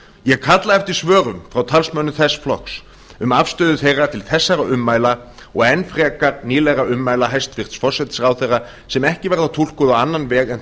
ég kalla eftir svörum frá talsmönnum þess flokks um afstöðu þeirra til þessara ummæla og enn frekar nýlegra ummæla hæstvirtur forsætisráðherra sem ekki verða túlkuð á annan veg en